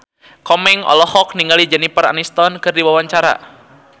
Komeng olohok ningali Jennifer Aniston keur diwawancara